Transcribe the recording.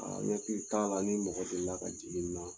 n hakili t'a la ni mɔgɔ deli la ka jigi n na.